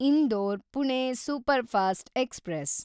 Indore Pune superfast express